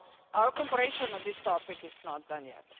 Our cooperation on this topic is not done yet.